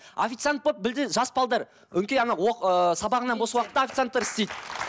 официант болып жас өңкей ана ыыы сабағынан бос уақытта официанттар істейді